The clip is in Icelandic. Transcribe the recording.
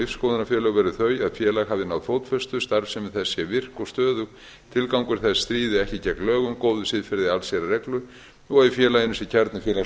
verði þau að félag hafi náð fótfestu starfsemi þess sé virk og stöðug tilgangur þess stríði ekki gegn lögum góðu siðferði allsherjarreglu og að í félaginu sé kjarni